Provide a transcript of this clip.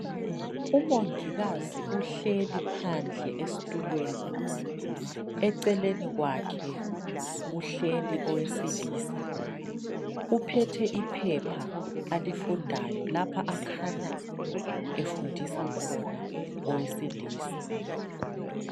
Umongikazi uhleli phandle esitulweni. Eceleni kwakhe kuhleli owesilisa. Uphethe iphepha alifundayo lapha akhanya efundisa khona owesilisa.